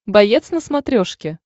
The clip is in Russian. боец на смотрешке